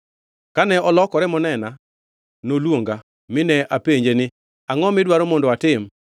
Kane olokore monena, noluonga, mine apenje ni, Angʼo midwaro mondo atim?